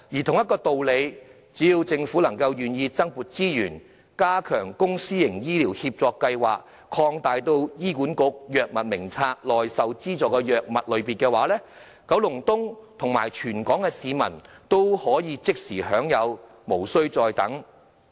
同一道理，只要政府願意增撥資源，加強公私營醫療協作計劃，擴大醫管局《藥物名冊》內受資助的藥物類別，九龍東和全港的市民都可即時受惠，無須再等。